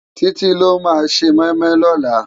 Titi ló má sé moimoi lòlá